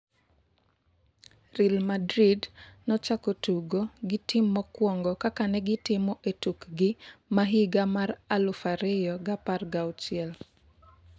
Real Madrid nochako tugo gi team mokuongo kaka negitimo etukgi ma higa mar aluf ariyo gi apar gauchiel.